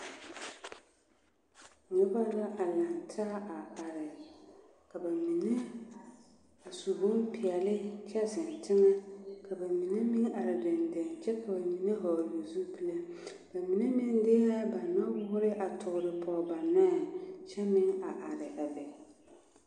Noba la a laŋ taa a are ka ba mine a su bonpeɛlle kyɛ zeŋ teŋɛ ka ba mine meŋ are deŋdeŋ kyɛ ka ba mine vɔgle zupile ba mine meŋ de la ba nɔwoore a toore pɔge ba nɔɛ kyɛ meŋ a are a be.